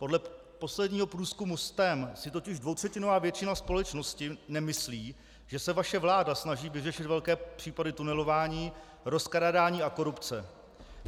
Podle posledního průzkumu STEM si totiž dvoutřetinová většina společnosti nemyslí, že se vaše vláda snaží vyřešit velké případy tunelování, rozkrádání a korupce.